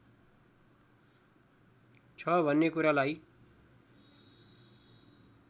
छ भन्ने कुरालाई